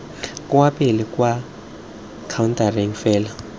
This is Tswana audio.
kwa pele kwa khaontareng fela